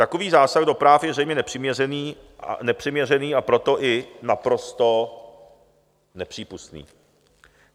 Takový zásah do práv je zřejmě nepřiměřený, a proto i naprosto nepřípustný.